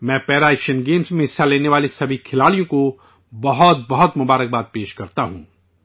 میں پیرا ایشیائی گیمز میں حصہ لینے والے تمام ایتھلیٹوں کو بہت بہت مبارکباد پیش کرتا ہوں